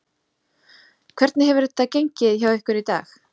Hvernig hefur þetta gengið hjá ykkur í dag?